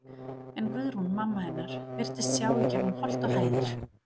En Guðrún, mamma hennar, virtist sjá í gegnum holt og hæðir.